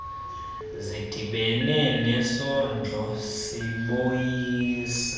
zidibene nesondlo sobisi